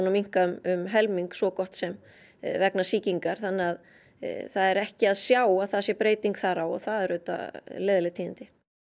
að minnka um helming svo gott sem vegna sýkingar þannig að það er ekki að sjá að það sé breyting þar á og það eru auðvitað leiðinleg tíðindi